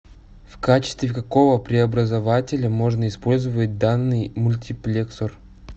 в качестве какого преобразователя можно использовать данный мультиплексор